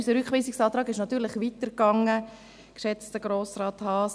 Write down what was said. Unser Rückweisungsantrag ging natürlich weiter, geschätzter Grossrat Haas.